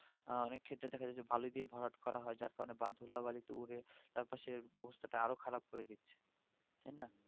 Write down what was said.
আহ অনেক ক্ষেতে দেখা যাচ্ছে যে ভালো দিয়ে ভরাট করা হয় যার কারণে ধুলোবালিতে উড়ে আমাদের চারপাশের অবস্থাটা আরো খারাপ করে দিচ্ছে তাই না